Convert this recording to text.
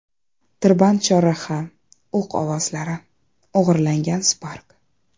Tirband chorraha, o‘q ovozlari, o‘g‘irlangan Spark.